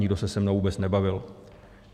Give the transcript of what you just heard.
Nikdo se se mnou vůbec nebavil.